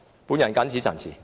本人謹此陳辭。